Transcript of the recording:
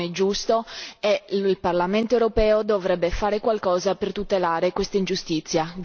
Questo non è giusto e il Parlamento europeo dovrebbe fare qualcosa per tutelare quest'ingiustizia.